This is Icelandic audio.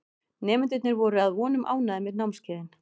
Nemendurnir voru að vonum ánægðir með námskeiðin.